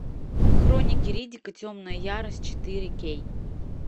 хроники риддика темная ярость четыре кей